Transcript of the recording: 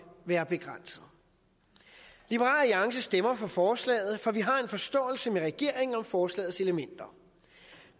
være begrænset liberal alliance stemmer for forslaget for vi har en forståelse med regeringen om forslagets elementer